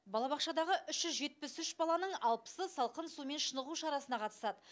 балабақшадағы үш жүз жетпіс үш баланың алпысы салқын сумен шынығу шарасына қатысады